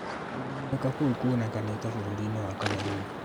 Kuongerereka kũu kũonekanĩte bũrũri-inĩ wa Cameroon